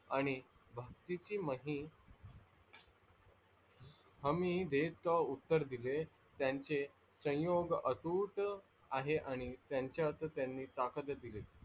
आणि भक्तिचि महिम हमी देत उत्तर दिले त्यांचे सयोग अतूट आहे आणि त्यांच्यात त्यान्ही ताकत दिले.